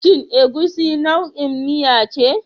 Shin Egusi nau'in miya ce?